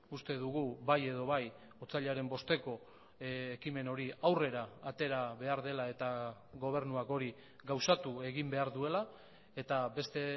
uste dugu bai edo bai otsailaren bosteko ekimen hori aurrera atera behar dela eta gobernuak hori gauzatu egin behar duela eta beste